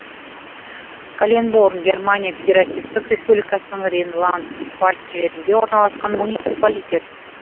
каленборн германия федеративтік республикасының рейнланд пфальц жерінде орналасқан муниципалитет